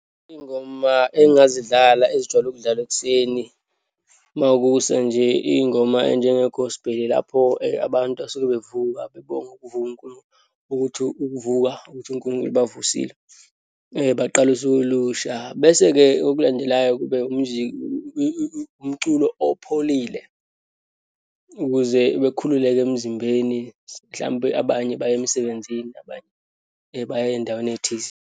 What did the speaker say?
Iyingoma engingazidlala ezijwayele ukudlalwa ekuseni. Uma kusa nje, iyingoma eyinjengo-gospel, lapho abantu asuke bevuka bebonga ukuthi ukuvuka, ukuthi uNkulunkulu ubavusile, baqale usuku olusha. Bese-ke, okulandelayo kube nje umculo opholile, ukuze bekhululeke emzimbeni, mhlampe abanye baye emsebenzini, abanye baya eyindaweni eyithize.